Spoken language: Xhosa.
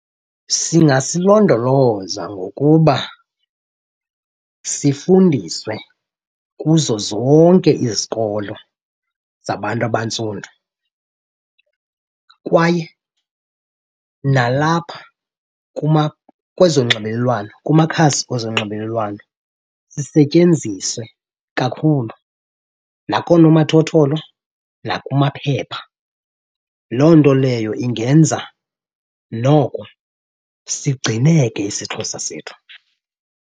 Singasilondoloza ngokuba sifundiswe kuzo zonke izikolo zabantu abantsundu kwaye nalapha kwezonxibelelwano kumakhasi ezonxibelelwano sisetyenziswe kakhulu nakoonomathotholo nakumaphepha. Loo nto leyo ingenza noko sigcineke isiXhosa sethu.